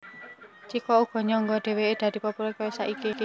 Chiko uga nyangka yèn dhèwèké dadi populèr kaya saiki